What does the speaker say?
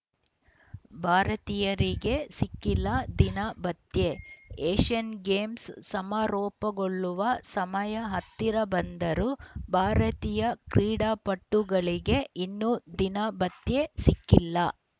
ಭಾರತೀಯರಿಗೆ ಸಿಕ್ಕಿಲ್ಲ ದಿನ ಭತ್ಯೆ ಏಷ್ಯನ್‌ ಗೇಮ್ಸ್‌ ಸಮಾರೋಪಗೊಳ್ಳುವ ಸಮಯ ಹತ್ತಿರ ಬಂದರೂ ಭಾರತೀಯ ಕ್ರೀಡಾಪಟುಗಳಿಗೆ ಇನ್ನೂ ದಿನ ಭತ್ಯೆ ಸಿಕ್ಕಿಲ್ಲ